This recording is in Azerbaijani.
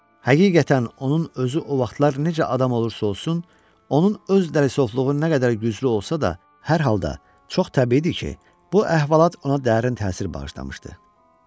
Həqiqətən onun özü o vaxtlar necə adam olursa olsun, onun öz dərrakəsinin nə qədər güclü olsa da, hər halda çox təbiidir ki, bu əhvalat ona dərin təsir bağışlamışdı.